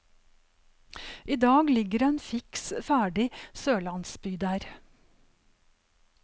I dag ligger en fiks ferdig sørlandsby der.